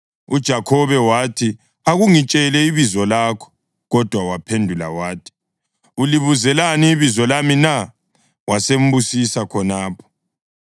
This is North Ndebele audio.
UJakhobe wathi, “Akungitshele ibizo lakho.” Kodwa waphendula wathi “Ulibuzelani ibizo lami na?” Wasembusisa khonapho.